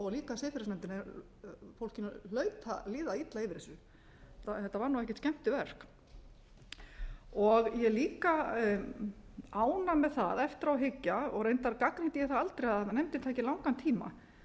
líka siðferðisnefndinni fólkinu hlaut að líða illa yfir þessu þetta var ekkert skemmtiverk ég er líka ánægð með það eftir á að hyggja og reyndar gagnrýndi ég það aldrei að nefndin tæki langan tíma